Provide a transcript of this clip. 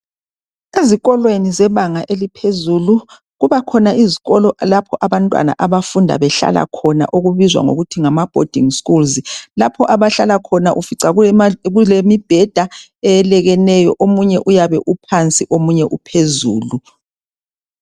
Ezikolweni zebanga eliphezulu. Kubakhona izkolo lapho abantwana abafunda behlala khona okubizwa ngokuthi ngama bhodingi skulz. Lapho abahlala khona ufica kulemibheda eyelekeneyo, omunye uyabe iphansi, omunye uphezulu.